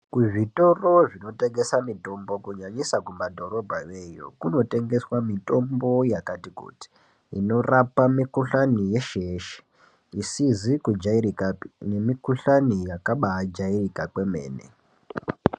Kuzvitoro zvinotengesa mitombo kunyanyisa kumadhorobhayo iyo, kunotengeswa mitombo yakati kuti, inorapa mikhuhlani yeshe-yeshe, isizi kujairikapi nemikhuhlani neyakabajairika kwemene.